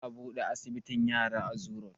Za a buɗe asibitin yara a zoo road